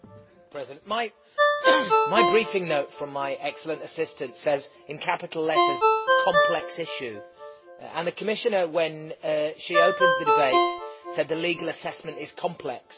Mr President, my briefing note from my excellent assistant says in capital letters COMPLEX ISSUE', and the Commissioner, when she opened the debate, said the legal assessment is complex.